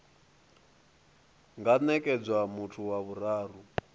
nga nekedzwa muthu wa vhuraru